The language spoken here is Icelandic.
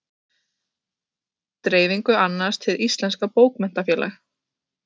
Dreifingu annast Hið íslenska bókmenntafélag.